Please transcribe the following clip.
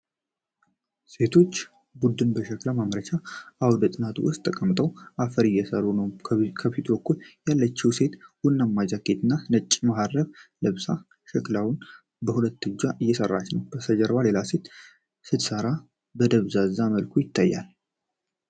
የሴቶች ቡድን በሸክላ ማምረቻ አውደ ጥናት ውስጥ ተቀምጠው አፈር እየሰሩ ነው። በፊት በኩል ያለችው ሴት ቡናማ ጃኬት እና ነጭ መሀረብ ለብሳ ሸክላዋን በሁለት እጇ እየሰራች ነው። ከበስተጀርባዋ ሌላ ሴት ስትሰራ በደብዛዛ መልኩ ትታያለች።